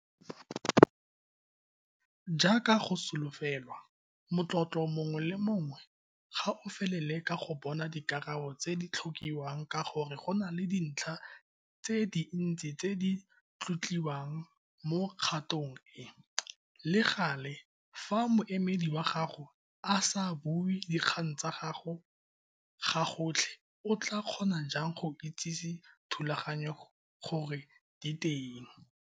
Jaaka go solofelwa, motlotlo mongwe le mongwe ga o felele ka go bona dikarabo tse di tlhokiwang ka gore go na le dintlha tse dintsi tse di tlotliwang mo kgatong e, le gale, fa moemedi wa gago a SA BUE DIKGANG TSA GAGO GAGOTLHE o tlaa kgona jang go itsise thulaganyo gore di teng?